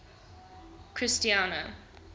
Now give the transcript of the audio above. christiana